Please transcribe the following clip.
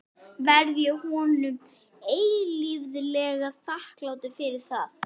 Verð ég honum eilíflega þakklátur fyrir það.